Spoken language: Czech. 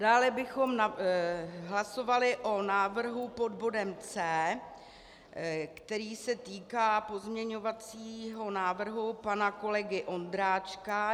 Dále bychom hlasovali o návrhu pod bodem C, který se týká pozměňovacího návrhu pana kolegy Ondráčka.